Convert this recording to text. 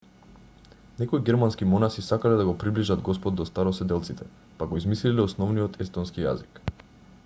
некои германски монаси сакале да го приближат господ до староседелците па го измислиле основниот естонски јазик